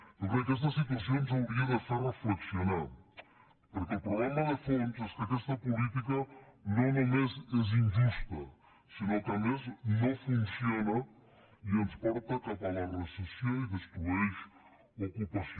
jo crec que aquesta situació ens hauria de fer reflexionar perquè el problema de fons és que aquesta política no només és injusta sinó que a més no funciona i ens porta cap a la recessió i destrueix ocupació